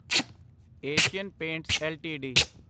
Asian Paints LTD